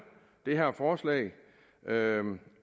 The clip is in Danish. det her forslag